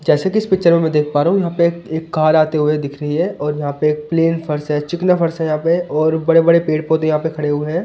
जैसे कि इस पिक्चर में देख पा रहा हूं यहां पे एक एक कार आते हुए दिख रही है और यहां पे एक प्लेन फर्श है चिकना फर्श है यहां पे और बड़े-बड़े पेड़ पौधे यहां पे खड़े हुए हैं।